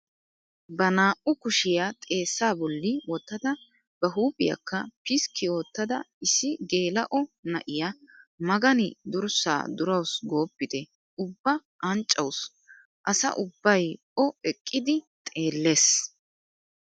Ba naa"u kushiyaa xeessaa bolli wottada ba huuphphiyaakka piskki oottida issi geela'o na'iyaa magani durssaa durawus gooppite ubba anccawus asa ubbay o eqqidi xeellees!